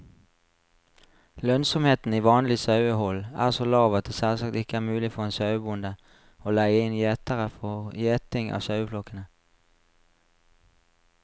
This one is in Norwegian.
Lønnsomheten i vanlig sauehold er så lav at det selvsagt ikke er mulig for en sauebonde å leie inn gjetere for gjeting av saueflokkene.